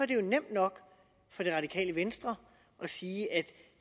det nemt nok for det radikale venstre at sige at